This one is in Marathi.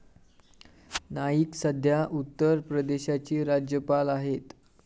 नाईक सध्या उत्तर प्रदेशाची राज्यपाल आहेत.